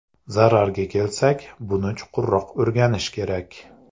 Zararga kelsak, buni chuqurroq o‘rganish kerak.